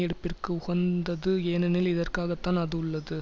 எடுப்பிற்கு உகந்தது ஏனெனில் இதற்காகத்தான் அது உள்ளது